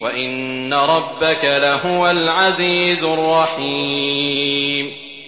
وَإِنَّ رَبَّكَ لَهُوَ الْعَزِيزُ الرَّحِيمُ